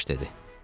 Baş dedi.